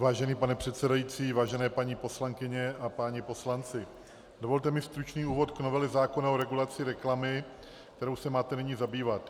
Vážený pane předsedající, vážené paní poslankyně a páni poslanci, dovolte mi stručný úvod k novele zákona o regulaci reklamy, kterou se máte nyní zabývat.